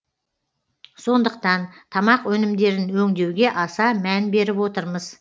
сондықтан тамақ өнімдерін өңдеуге аса мән беріп отырмыз